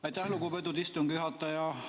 Aitäh, lugupeetud istungi juhataja!